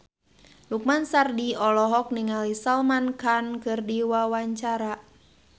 Lukman Sardi olohok ningali Salman Khan keur diwawancara